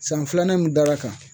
San filanan mun dara a kan